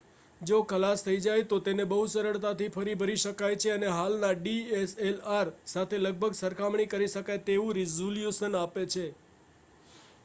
જો ખલાસ થઈ જાય તો તેને બહુ સરળતાથી ફરી ભરી શકાય છે અને હાલના dslr સાથે લગભગ સરખામણી કરી શકાય તેવું રેઝલૂશન આપે છે